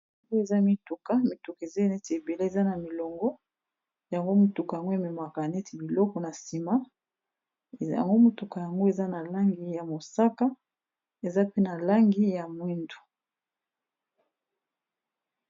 yango eza mituka mituka eza neti ebele eza na milongo yango motuka yango ememaka neti biloko na nsima yango motuka yango eza na langi ya mosaka eza pe na langi ya mwindu